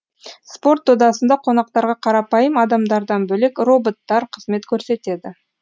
спорт додасында қонақтарға қарапайым адамдардан бөлек роботтар қызмет көрсетеді